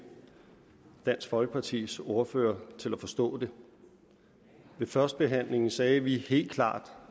dansk folkepartis ordfører til at forstå det ved førstebehandlingen sagde vi helt klart